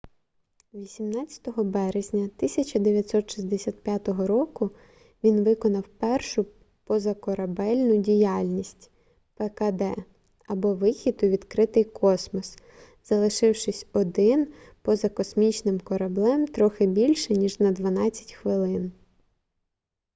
18 березня 1965 року він виконав першу позакорабельну діяльність пкд або вихід у відкритий космос залишившись один поза космічним кораблем трохи більше ніж на дванадцять хвилин